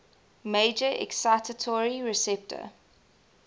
major excitatory receptor